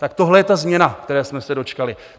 Tak tohle je ta změna, které jsme se dočkali.